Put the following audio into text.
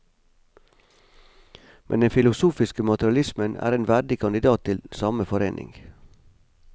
Men den filosofiske materialismen er en verdig kandidat til samme forening.